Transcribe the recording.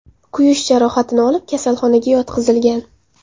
kuyish jarohatini olib, kasalxonaga yotqizilgan.